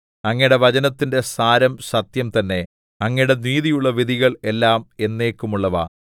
അങ്ങയുടെ വചനത്തിന്റെ സാരം സത്യം തന്നെ അങ്ങയുടെ നീതിയുള്ള വിധികൾ എല്ലാം എന്നേക്കുമുള്ളവ ശീൻ